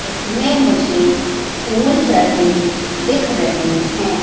इसमें मुझे फूल चढ़े दिख रहे हैं।